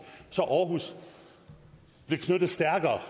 så aarhus blev knyttet stærkere